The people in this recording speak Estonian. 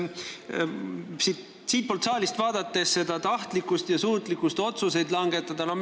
Kui siitpoolt saalist vaadata, siis tahtlikkust ja suutlikkust otsuseid langetada ei ole näha.